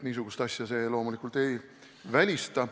Niisugust asja see loomulikult ei välista.